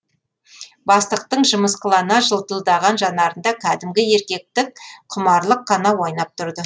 бастықтың жымысқылана жылтылдаған жанарында кәдімгі еркектік құмарлық қана ойнап тұрды